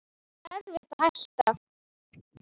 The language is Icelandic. Það var erfitt að hætta.